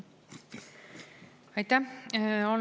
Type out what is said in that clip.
Aitäh!